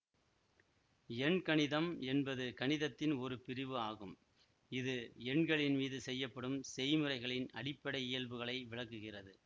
எண்கணிதம் என்பது கணிதத்தின் ஒரு பிரிவு ஆகும் இது எண்களின் மீது செய்யப்படும் செய்முறைகளின் அடிப்படை இயல்புகளை விளக்குகிறது